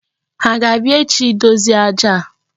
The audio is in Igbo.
Ha ga-abịa echi dozie aja a?